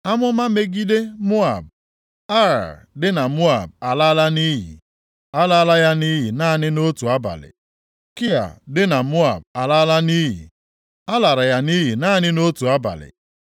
Amụma megide Moab: Ar dị na Moab a laala nʼiyi, a lara ya nʼiyi naanị nʼotu abalị. Kia dị na Moab a laala nʼiyi, a lara ya nʼiyi naanị nʼotu abalị. + 15:1 Obodo Ar na Kia, bụ obodo abụọ dị mkpa nʼala ndị Moab.